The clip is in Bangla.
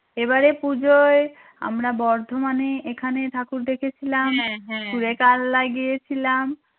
এবারে পুজোয় আমরা বর্ধমানে এখানে ঠাকুর দেখেছিলাম লাগিয়েছিলাম